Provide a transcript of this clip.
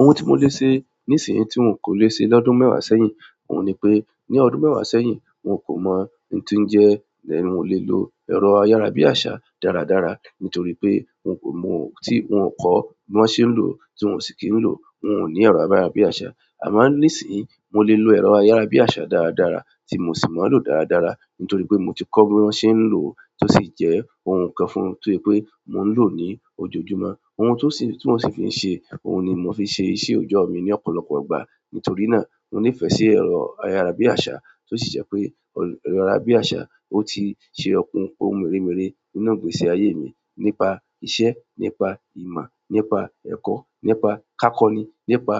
Ohun tí mo lè ṣe nísìn tí n kò lè ṣe lọ́dún mẹ́wàá sẹ́yìn, òun ni pé ní ọdún mẹ́wàá sẹ́yìn, n kò mọ̀ n tí jẹ́ then won kò lè lo ẹ̀rọ ayára bí àsá dáradára nítorí pé n kò mọ̀ tí wọn kọ́ bí wọ́n ṣe ń lò tí òún sì kín ń lò. Wọn ò ní ẹ̀rọ ayára bí àsá. Àmo nísìnyí, mo lè lo ẹ̀rọ ayára bí àsá dáradára tí mo sì mo ń lò ó dáradára nítorí pé mo ti kọ́ bí wọ́n ṣe ń lò ó tó sì jẹ́ ohun kan fún tó je pé mò ń lò ó ní ojoojúmọ́. Ohun tó sì tí mọ́ sì fi ń ṣe, òhun ni mo fi ṣe iṣẹ́ òjọ́ mi ní ọ̀pọ̀lọpọ̀ ìgbà. Nítorí náà, mo nífẹ̀ẹ́ sí ẹ̀rọ ayára bí àsá tó sì jẹ́ pé ẹ̀rọ ayára bí àsá ó ti ṣe okùn ohun mèremere nínú ìgbésí ayé mi nípa iṣẹ́, nípa ìmọ̀, nípa ẹ̀kọ́, nípa kákoní, nípa